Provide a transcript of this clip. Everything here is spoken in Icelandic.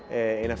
eitt